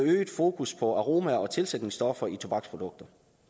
fokus på aromaer og tilsætningsstoffer i tobaksprodukter